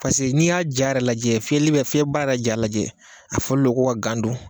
n'i y'a ja lajɛ fiyɛbara ja lajɛ a fɔlen don ko ka gan don